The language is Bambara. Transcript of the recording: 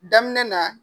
Daminɛ na